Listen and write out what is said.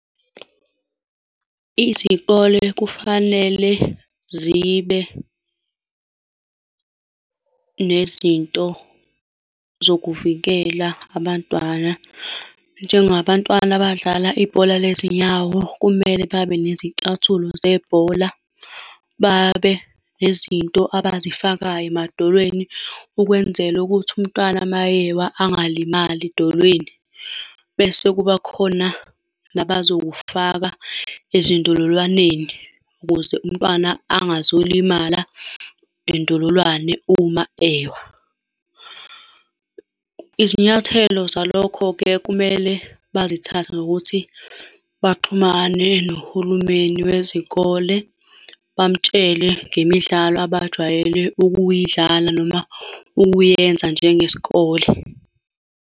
Izikole kufanele zibe nezinto zokuvikela abantwana. Njengabantwana abadlala ibhola lezinyawo, kumele babe nezicathulo zebhola, babe nezinto abazifakayo emadolweni, ukwenzela ukuthi umntwana mayewa angalimali edolweni. Bese kuba khona abazokufaka ezindololwaneni ukuze umntwana angazolimala indololwane uma ewa. Izinyathelo zalokho-ke kumele bazithathe ngokuthi baxhumane nohulumeni wezikole bamtshele ngemidlalo abajwayele ukuyidlala noma ukuyenza njengesikole.